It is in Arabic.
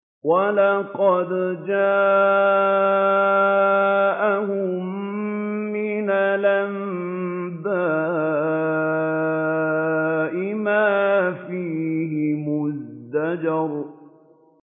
وَلَقَدْ جَاءَهُم مِّنَ الْأَنبَاءِ مَا فِيهِ مُزْدَجَرٌ